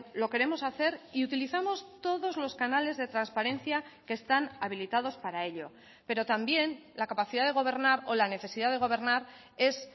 lo queremos hacer y utilizamos todos los canales de transparencia que están habilitados para ello pero también la capacidad de gobernar o la necesidad de gobernar es